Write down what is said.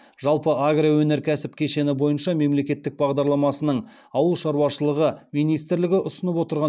жалпы агроөнеркәсіп кешені бойынша мемлекет бағдарламасының ауыл шаруашылығы министрлігі ұсынып отырған